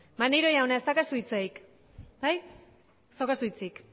maneiro jauna ez daukazu hitzik bai ez daukazu hitzik